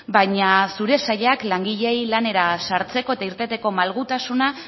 baina zure sailak langileei lanera sartzeko eta irteteko malgutasuna